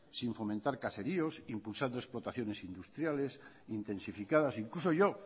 sin fomentar caseríos impulsando explotaciones industriales intensificadas incluso yo